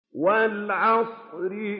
وَالْعَصْرِ